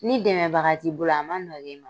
Ni dɛmɛbaga t'i bolo a man nɔgɔ i ma.